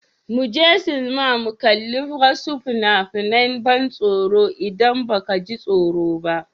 Mu je sinima mu kalli wasu fina-finan ban tsoro idan ba ka ji tsoro ba.